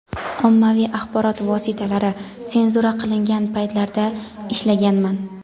ommaviy axborot vositalari senzura qilingan paytlarda ishlaganman.